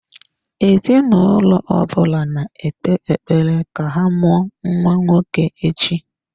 Ezinụlọ ọ bụla na-ekpe ekpere ka ha mụọ nwa nwoke echi.